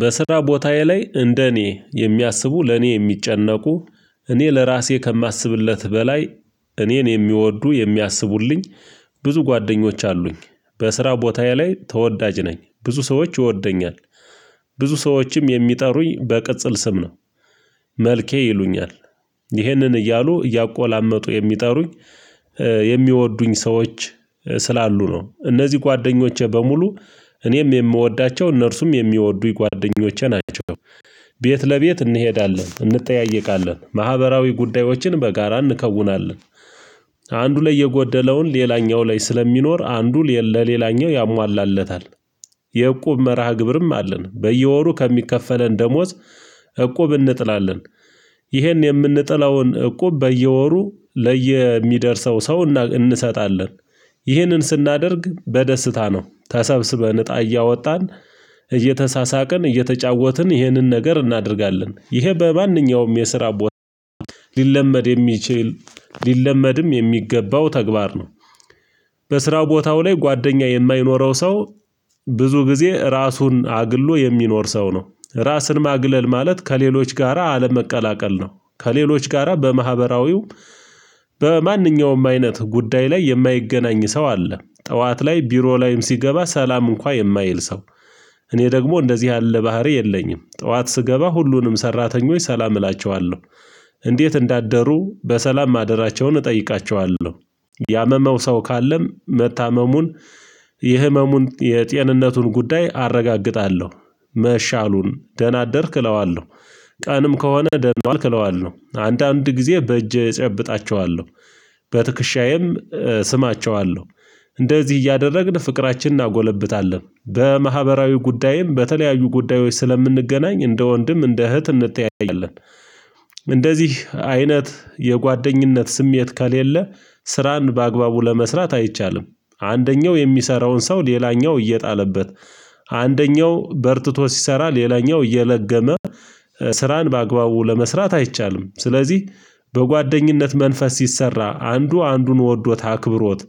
በስራ ቦታዬ ላይ እንደ እኔ የሚያስቡ ለኔ የሚጨነቁ እኔ ለራሴ ከማስብለት በላይ እኔን የሚወዱ የሚያስቡልኝ ብዙ ጓደኞች አሉኝ። በስራ ቦታዬ ላይ ተወዳጅ ነኝ ብዙ ሰዎች ይወደኛል። ብዙ ሰዎችም የሚጠሩኝ በቅጽል ስም ነው። መልኬ ይሉኛል ይህንን እያሉ እያቆላመጡ የሚጠሩኝ የሚወዱኝ ሰዎች ስላሉ ነው። እነዚህ ጓደኞቼ በሙሉ እኔም የምወዳቸው እነርሱም የሚወዱኝ ጓደኞቼ ናቸው። ቤት ለቤት እንሄዳለን እንጠያየቃለን ማህበራዊ ጉዳዮችን በጋራ እንከውናለን። አንዱ ላይ የጎደለውን ሌላኛው ላይ ስለሚኖር አንዱ ለሌላኛው ያሟላለታል። የእቁብ መርሃ ግብርም አለን በየወሩ ከሚከፈለን ደሞዝ እቁብ እንጥላለን። ይሄን የምንጥለውን እቁብ በየወሩ ለየሚደርሰው ሰው እንሰጣለን። ይህንን ስናደርግ በደስታ ነው ተሰብስበን እጣ እያወጣን እየተሳሳቅን እየተጫወትን ይህንን ነገር እናደርጋለን ይሄ በማንኛውም የስራ ቦታ ሊለመድ የሚችል ሊለመድም የሚገባው ተግባር ነው። በስራው ቦታው ላይ ጓደኛ የማይኖረው ሰው ብዙ ጊዜ ራሱን አግሎ የሚኖር ሰው ነው። ራስን ማግለል ማለት ከሌሎች ጋራ አለመቀላቀል ነው። ከሌሎች ጋራ በማህበራዊው በማንኛውም አይነት ጉዳይ ላይ የማይገናኝ ሰው አለ። ጠዋት ላይ ቢሮ ላይም ሲገባ ሰላም እንኳን የማይል ሰው። እኔ ደግሞ እንደዚህ ያለ ባህሪ የለኝም። ጠዋት ስገባ ሁሉንም ሰራተኞች ሰላም እላቸዋለሁ እንዴት እንዳደሩ በሰላም ማደራቸውን እጠይቃቸዋለሁ። ያመመው ሰው ካለም መታመሙን የህመሙን የጤንነቱን ጉዳይ አረጋግጣለሁ። መሻሉን ደህና አደርክ እለዋለሁ። ቀንም ከሆነ ደህና አልክለዋለሁ አንዳንድ ጊዜ በእጅ እጨብጣቸዋለሁ በትክሻዬም ስማቸዋለሁ። እንደዚህ እያደረግን ፍቅራችን እናጎለብታለን በማህበራዊ ጉዳይም በተለያዩ ጉዳዮች ስለምንገናኝ እንደ ወንድም እንደ እህት እንተያየናለን። እንደዚህ አይነት የጓደኝነት ስሜት ከሌለ ስራን በአግባቡ ለመስራት አይቻልም። አንደኛው የሚሰራውን ሰው ሌላኛው እየጣለበት አንደኛው በርትቶ ሲሰራ ሌላኛው እየለገመ ስራን በአግባቡ ለመስራት አይቻልም። ስለዚህ በጓደኝነት መንፈስ ሲሰራ አንዱ አንዱን ወዶት አክብሮት